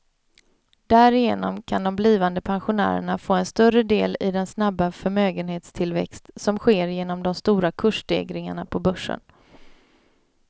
Därigenom kan de blivande pensionärerna få en större del i den snabba förmögenhetstillväxt som sker genom de stora kursstegringarna på börsen.